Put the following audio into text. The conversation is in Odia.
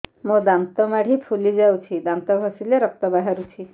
ମୋ ଦାନ୍ତ ମାଢି ଫୁଲି ଯାଉଛି ଦାନ୍ତ ଘଷିଲେ ରକ୍ତ ବାହାରୁଛି